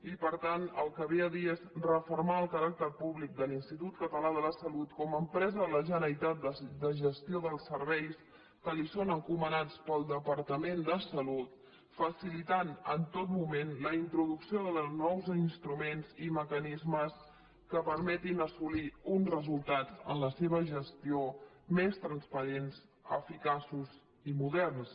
i per tant el que ve a dir és refermar el caràcter públic de l’institut català de la salut com a empresa de la generalitat de gestió dels serveis que li són encomanats pel departament de sa·lut facilitant en tot moment la introducció de nous instruments i mecanismes que permetin assolir uns resultats en la seva gestió més transparents eficaços i moderns